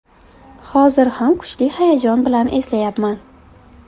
Hozir ham kuchli hayajon bilan eslayapman.